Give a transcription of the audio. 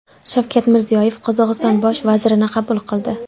Shavkat Mirziyoyev Qozog‘iston Bosh vazirini qabul qildi.